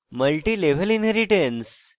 multilevel inheritance